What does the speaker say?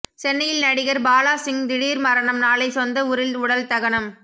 சென்னையில் நடிகர் பாலாசிங் திடீர் மரணம் நாளை சொந்த ஊரில் உடல் தகனம்